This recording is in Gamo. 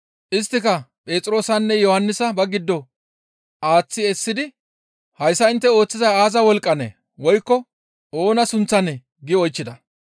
Isttika Phexroosanne Yohannisa ba giddon aaththi essidi, «Hayssa intte ooththizay aaza wolqqanee? Woykko oona sunththanee?» giidi oychchida.